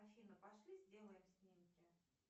афина пошли сделаем снимки